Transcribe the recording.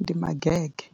ndi magege.